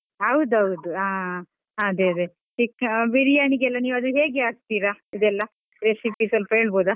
ಹೌದೌದು, ಹಾ ಅದೆ ಅದೆ ಚಿಕ್ಕಾ~ ಬಿರಿಯಾನಿಗೆ ಎಲ್ಲ ಅದು ನೀವ್ ಹೇಗೆ ಹಾಕ್ತೀರ ಅದೆಲ್ಲ recipe ಸ್ವಲ್ಪ ಹೇಳ್ಬೋದಾ?